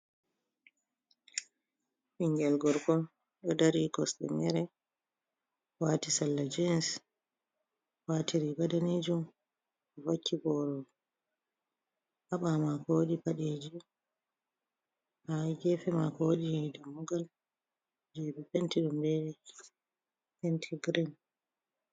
Ɓingel gorko ɗo dari kosɗe mere, wati sallah jins wati riga danejum vakki boro ha ɓamako, wodi paɗeji ha gefe mako wodi dammugal je ɓe penti ɗum be penti girin.